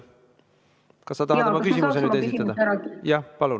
Ka sa tahad oma küsimuse nüüd esitada?